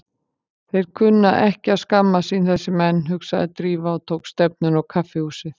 Þeir kunnu ekki að skammast sín, þessir menn, hugsaði Drífa og tók stefnuna á kaffihúsið.